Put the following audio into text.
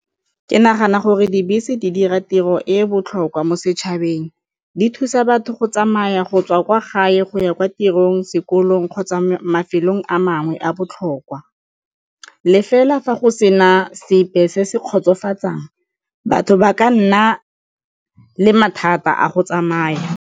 Ke nagana gore dibese di dira tiro e e botlhokwa mo setšhabeng, di thusa batho go tsamaya go tswa kwa gae go ya kwa tirong sekolong kgotsa mafelong a mangwe a botlhokwa, le fela fa go sena sepe se se kgotsofatsang batho ba ka nna le mathata a go tsamaya.